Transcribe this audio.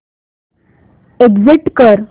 exit कर